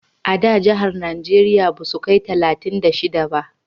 A da jahar najeriya basu kai talatin da shida ba